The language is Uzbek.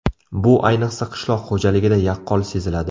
Bu ayniqsa qishloq xo‘jaligida yaqqol seziladi.